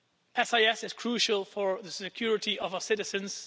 SIS is crucial for the security of our citizens.